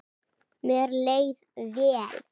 Mér leið vel.